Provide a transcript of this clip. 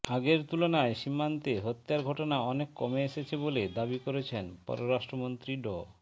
আগের তুলনায় সীমান্তে হত্যার ঘটনা অনেক কমে এসেছে বলে দাবি করেছেন পররাষ্ট্রমন্ত্রী ড